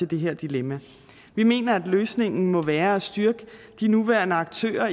det her dilemma vi mener at løsningen må være at styrke de nuværende aktører